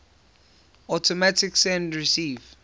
automatic send receive